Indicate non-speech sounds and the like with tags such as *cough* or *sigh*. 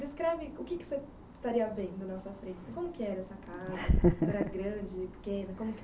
Descreve o que que você estaria vendo na sua frente, como que era essa casa, *laughs* se era grande, pequena... Como que *unintelligible*